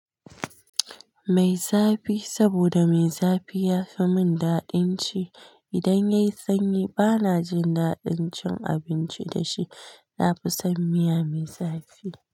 Mai zafi, saboda mai zafi yafi mun daɗin ci. Idan yayi sanyi bana jin daɗin cin abinci dashi. Nafi son miya mai zafi.